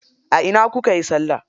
A ina kukayi salla?